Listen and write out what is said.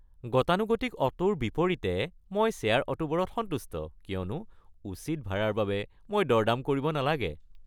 গতানুগতিক অটোৰ বিপৰীতে মই শ্বেয়াৰ অটোবোৰত সন্তুষ্ট কিয়নো উচিত ভাৰাৰ বাবে মই দৰ-দাম কৰিব নালাগে।